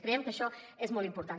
creiem que això és molt important